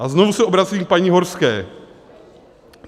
A znovu se obracím k paní Horské.